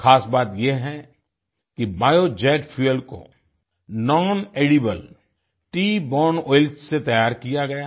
ख़ास बात ये है कि बायोजेट फ्यूएल को नॉनेडिबल ट्री बोरने ओइल से तैयार किया गया है